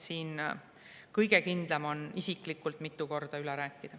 Kõige kindlam on isiklikult mitu korda üle rääkida.